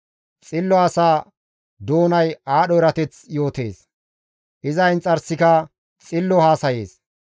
Xillo asa doonay aadho erateth yootees; iza inxarsika xillo haasayees.